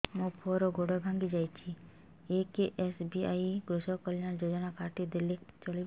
ମୋ ପୁଅର ଗୋଡ଼ ଭାଙ୍ଗି ଯାଇଛି ଏ କେ.ଏସ୍.ବି.ୱାଇ କୃଷକ କଲ୍ୟାଣ ଯୋଜନା କାର୍ଡ ଟି ଦେଲେ ଚଳିବ